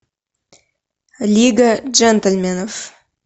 лига джентльменов